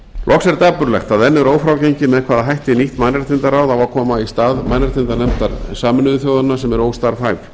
loks er dapurlegt að enn er ófrágengið með hvaða hætti nýtt mannréttindaráð á að koma í stað mannréttindanefndar sameinuðu þjóðanna sem er óstarfhæf